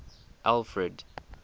alfred